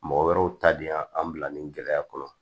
Mɔgɔ wɛrɛw ta de y'an bila nin gɛlɛya kɔnɔ